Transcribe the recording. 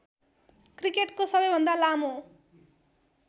क्रिकेटको सबैभन्दा लामो